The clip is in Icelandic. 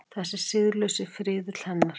Þessi siðlausi friðill hennar.